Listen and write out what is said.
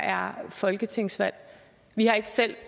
er folketingsvalg vi har ikke selv